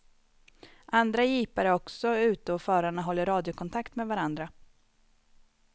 Andra jeepar är också ute och förarna håller radiokontakt med varandra.